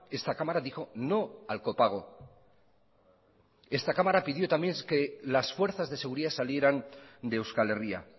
esta cámara dijo no al copago esta cámara pidió también que las fuerzas de seguridad salieran de euskal herria